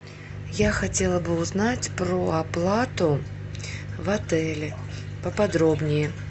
я хотела бы узнать про оплату в отеле поподробнее